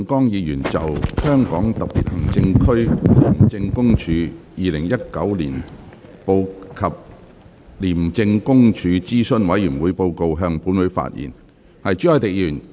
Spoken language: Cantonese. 廖長江議員就"香港特別行政區廉政公署2019年報及廉政公署諮詢委員會報告"向本會發言。